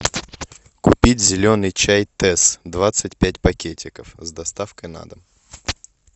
купить зеленый чай тесс двадцать пять пакетиков с доставкой на дом